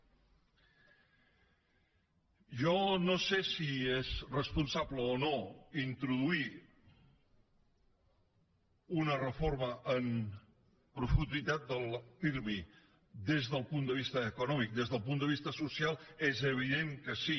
jo no sé si és responsable o no introduir una reforma amb profunditat del pirmi des del punt de vista econòmic des del punt de vista social és evident que sí